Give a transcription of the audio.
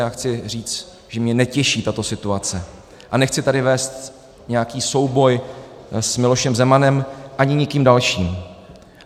Já chci říct, že mě netěší tato situace, a nechci tady vést nějaký souboj s Milošem Zemanem ani nikým dalším.